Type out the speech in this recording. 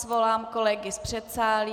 Svolám kolegy z předsálí.